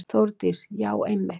Þórdís: Já einmitt.